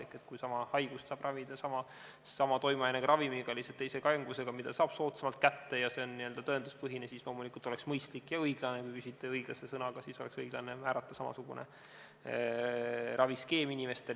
Ehk kui haigust saab ravida sama toimeainega ravimiga, lihtsalt teise kangusega, mida saab soodsamalt kätte, ja see on tõenduspõhine, siis loomulikult oleks mõistlik ja õiglane – kui küsite sõnaga "õiglane" – määrata inimestele samasugune raviskeem.